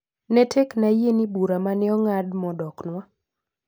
Ne tekna yie ni bura ma ne ong'ad madoknwa.